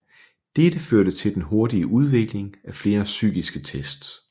Dette førte til den hurtige udvikling af flere psykiske tests